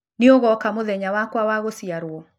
Nĩ ũgoka mũthenya wakwa wa gũciarwo?